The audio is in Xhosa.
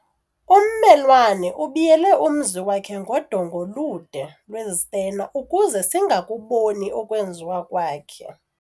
Ummelwane ubiyele umzi wakhe ngodonga olude lwezitena ukuze singakuboni okwenziwa kwakhe.